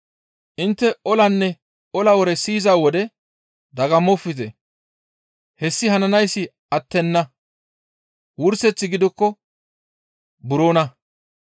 Intte olanne ola wore siyiza wode dagammofte; hessi hananayssi attenna; wurseththi gidikko buroona.